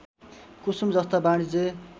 कुसुम जस्ता वाणिज्य